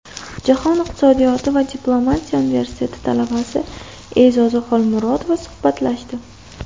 Jahon iqtisodiyoti va diplomatiya universiteti talabasi E’zoza Xolmurodova suhbatlashdi.